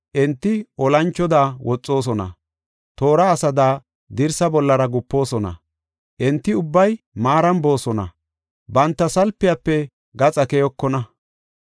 Enti olanchoda woxoosona; toora asada dirsaa bollara gupoosona. Enti ubbay maaran boosona; banta salpiyafe gaxa keyokona.